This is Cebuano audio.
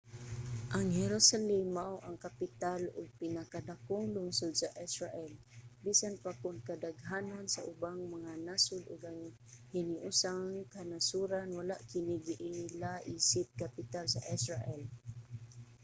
ang jerusalem mao ang kapital ug pinakadakong lungsod sa israel bisan pa kon kadaghanan sa ubang mga nasod ug ang hiniusang kanasoran wala kini giila isip kapital sa israel